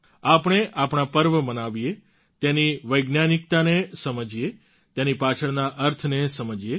આપણે આપણા પર્વ મનાવીએ તેની વૈજ્ઞાનિકતા ને સમજીએ તેની પાછળના અર્થને સમજીએ